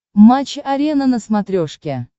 матч арена на смотрешке